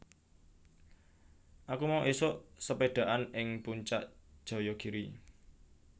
Aku mau isuk sepedhaan ing Puncak Jayagiri